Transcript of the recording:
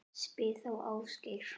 Spyr þá Ásgeir.